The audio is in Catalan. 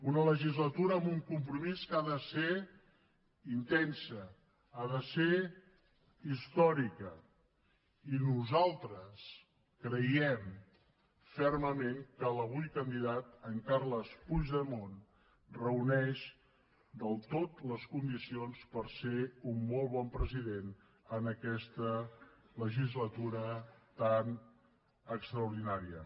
una legislatura amb un compromís que ha de ser intensa ha de ser històrica i nosaltres creiem fermament que l’avui candidat en carles puigdemont reuneix del tot les condicions per ser un molt bon president en aquesta legislatura tan extraordinària